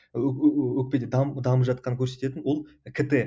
өкпеде дамып жатқанын көрсететін ол кт